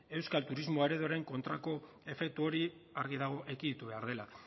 euskal turismo ereduaren kontrako efektu hori argi dago ekiditu behar dela